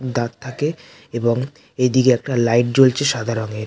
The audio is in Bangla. উ দাঁত থাকে এবং এদিকে একটা লাইট জ্বলছে সাদা রঙের।